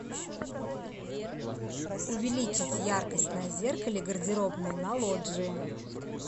увеличить яркость на зеркале гардеробной на лоджии